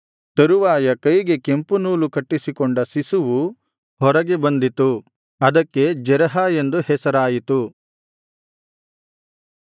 ತರುವಾಯ ಕೈಗೆ ಕೆಂಪು ನೂಲು ಕಟ್ಟಿಸಿಕೊಂಡ ಶಿಶುವು ಹೊರಗೆ ಬಂದಿತು ಅದಕ್ಕೆ ಜೆರಹ ಎಂದು ಹೆಸರಾಯಿತು